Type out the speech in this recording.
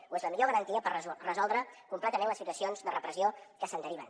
o és la millor garantia per resoldre completament les situacions de repressió que se’n deriven